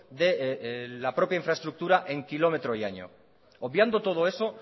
de la propia infraestructura en kilómetro y año obviando todo eso